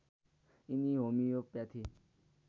यिनी होमियोप्याथी